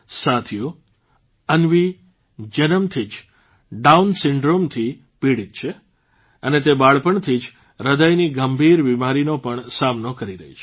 સાથીઓ અન્વી જન્મથી જ ડાઉન સિન્ડ્રોમ થી પીડીત છે અને તે બાળપણથી જ હૃદયની ગંભીર બીમારીનો પણ સામનો કરી રહી છે